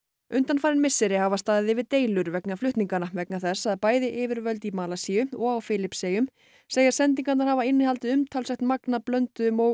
undanfarin misseri hafa staðið yfir deilur vegna flutninganna vegna þess að bæði yfirvöld í Malasíu og á Filippseyjum segja sendingarnar hafa innihaldið umtalsvert magn af blönduðum og